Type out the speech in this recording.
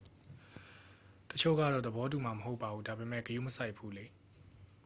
"""တစ်ချို့ကတော့ သဘောတူမှာ မဟုတ်ပါဘူး၊ ဒါပေမယ့် ဂရုမစိုက်ဘူးလေ။